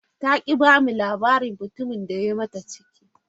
Ta ki ba mu labarin mutumin da ya yi mata ciki.